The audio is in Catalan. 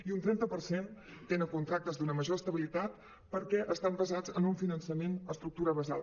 i un trenta per cent tenen contractes d’una major estabilitat perquè estan basats en un finançament d’es·tructura basal